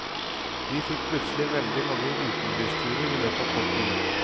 Vi fikk plutselig veldig mange utenbys turer i løpet av kort tid.